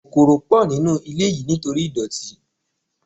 Kòkòrò pọ̀ nínú ilé yìí nítorí ìdọ̀tí.